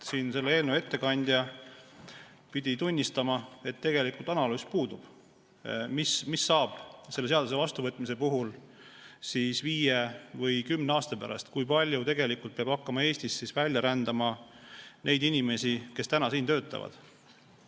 Eelnõu ettekandja pidi tunnistama, et puudub analüüs, mis saab selle seaduse vastuvõtmise korral viie või kümne aasta pärast, kui palju tegelikult peab hakkama Eestist välja rändama neid inimesi, kes täna siin töötavad.